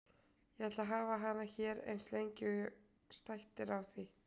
Ég ætla að hafa hana hér eins lengi og stætt er á því.